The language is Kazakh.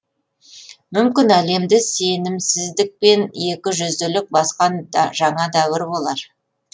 мүмкін әлемді сенімсіздікпен екі жүзділік басқан жаңа дәуір болар